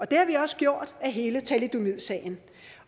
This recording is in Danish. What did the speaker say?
det har vi også gjort af hele thalidomidsagen